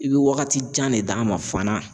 I bɛ wagati jan ne d'a ma fana.